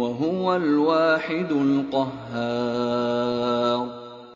وَهُوَ الْوَاحِدُ الْقَهَّارُ